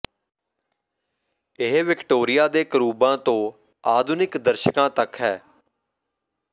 ਇਹ ਵਿਕਟੋਰੀਆ ਦੇ ਕਰੂਬਾਂ ਤੋਂ ਆਧੁਨਿਕ ਦਰਸ਼ਕਾਂ ਤੱਕ ਹੈ